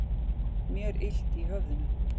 Mér illt í höfðinu.